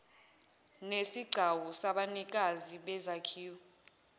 nesigcawu sabanikazi bezakhiwo